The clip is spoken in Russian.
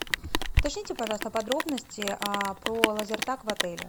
уточните пожалуйста подробности про лазертаг в отеле